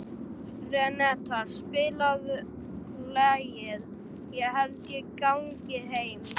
Renata, spilaðu lagið „Ég held ég gangi heim“.